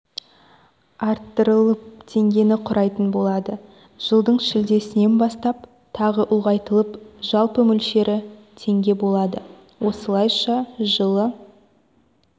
арттырылып теңгені құрайтын болады жылдың шілдесінен бастап тағы ұлғайтылып жалпы мөлшері теңге болады осылайша жылы